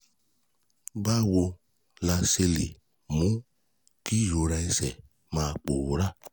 Báwo la ṣe lè mú kí ìrora ẹsẹ̀ máa pòórá?